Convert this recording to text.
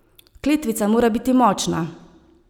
Kletvica mora biti močna.